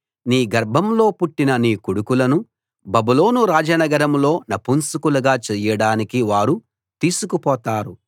నీ గర్భంలో పుట్టిన నీ కొడుకులను బబులోను రాజనగరంలో నపుంసకులుగా చేయడానికి వారు తీసుకుపోతారు